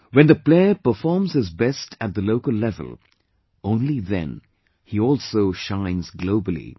When the player performs his best at the local level, only then, he also shines globally